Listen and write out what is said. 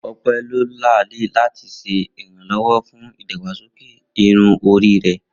Ope lo laali lati ṣe iranlọwọ fun idagbasoke irun ori rẹ.